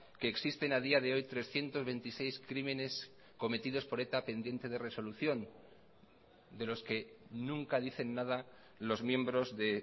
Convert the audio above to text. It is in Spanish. que existen a día de hoy trescientos veintiséis crímenes cometidos por eta pendiente de resolución de los que nunca dicen nada los miembros de